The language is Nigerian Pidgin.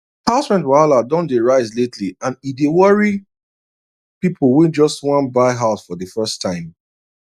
house rent wahala don dey rise lately and e dey worry people wey just wan buy house for the first time